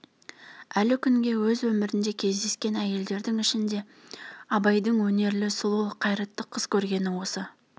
әлі күнге өз өмірінде кездескен әйелдердің ішінде абайдың өнерлі сұлу қайратты қыз көргені осы